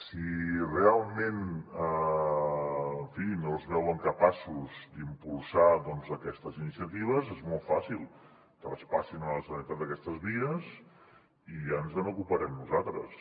si realment en fi no es veuen capaços d’impulsar aquestes iniciatives és molt fàcil traspassin a la generalitat aquestes vies i ja ens n’ocuparem nosaltres